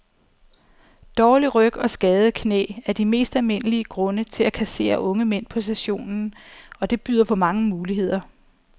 Dårlig ryg og skadede knæ er de mest almindelige grunde til at kassere unge mænd på sessionen, og det byder på mange muligheder.